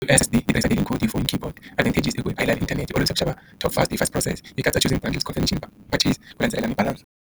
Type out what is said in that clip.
U_S_S_B the yi tirhisa info in keyboard advantage i ku a yi lavi inthanete olovisa ku xava top fast i fast process yi katsa choosing bundles confirmation ku landzelela ni balance.